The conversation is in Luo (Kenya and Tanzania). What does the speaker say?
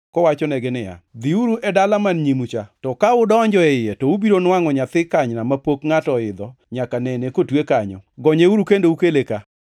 kowachonegi niya, “Dhiuru e dala man nyimu cha, to ka udonjo e iye to ubiro nwangʼo nyathi kanyna mapok ngʼato oidho nyaka nene kotwe kanyo. Gonyeuru kendo ukele ka.